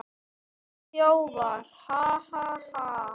Við þjófar, ha, ha, ha.